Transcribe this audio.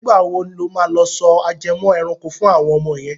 Ìgbà wo lo máa lọ sọ ajẹmọ́ ẹranko fún àwọn ọmọ yẹn.